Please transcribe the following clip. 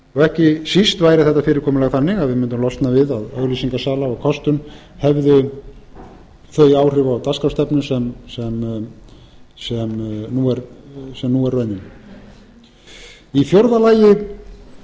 ekki síst væri þetta fyrirkomulag þannig að við mundum losna við að auglýsingasala og kostun hefði þau áhrif á dagskrárstefnu sem nú er venja í fjórða lagi